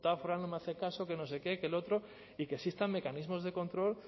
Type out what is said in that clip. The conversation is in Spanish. foral no me hace caso que no sé qué que el otro y que existan mecanismos de control